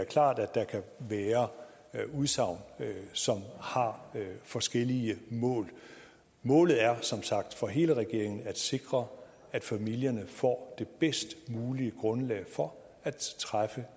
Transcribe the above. klart at der kan være udsagn som har forskellige mål målet er som sagt for hele regeringen at sikre at familierne får det bedst mulige grundlag for at træffe